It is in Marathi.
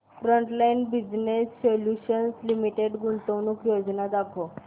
फ्रंटलाइन बिजनेस सोल्यूशन्स लिमिटेड गुंतवणूक योजना दाखव